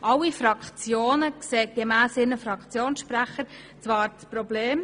Alle Fraktionen sehen zwar gemäss ihren Fraktionssprechern das Problem,